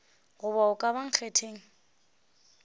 goba a ka ba nkgetheng